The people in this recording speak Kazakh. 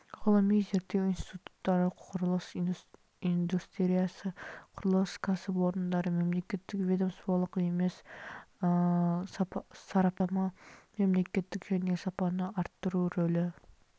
ғылыми зерттеу институттары құрылыс индустриясы құрылыс кәсіпорындары мемлекеттік ведомстволық емес сараптама мемлекеттік және сапаны арттыру рөлі